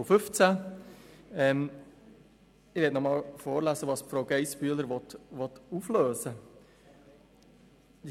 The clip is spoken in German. Ich lese noch einmal vor, was Grossrätin Geissbühler auflösen will: